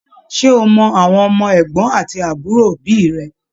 Ṣe o mọ àwọn ọmọ ẹgbọn àti àbúrò òbí rẹ?